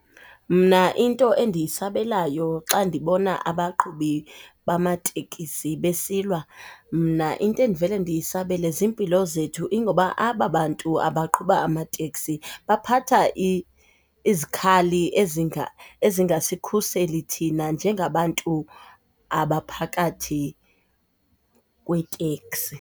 Mna into endiyisabelayo xa ndibona abaqhubi bamatekisi besilwa, mna into endivele ndiyisabele zimpilo zethu ingoba aba bantu abaqhuba amateksi baphatha izikhali ezingasikhuseli thina njengabantu abaphakathi kweteksi.